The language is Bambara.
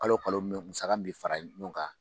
Kalo o kalo musaka min bɛ fara ɲɔgɔn kan